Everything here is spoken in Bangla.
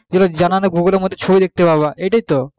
যেগুলো জানা নেই সেগুলো google এর মধ্যে ছবি দেখতে পাবা এটাই তো বলছে